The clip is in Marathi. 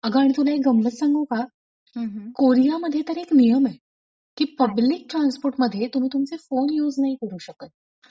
अगं आणि तुला एक गंमत सांगू का? कोरियामध्ये तर एक नियम ए की पब्लिक ट्रान्सपोर्ट मध्ये तुम्ही तुमचे फोन युज नाही करू शकत.